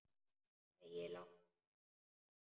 Æ, láttu ekki svona, Snorri.